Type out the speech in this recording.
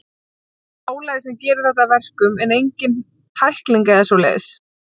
Það er bara álagið sem gerir þetta að verkum, en engin tækling eða svoleiðis.